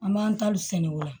An b'an taliw sɛnɛ o la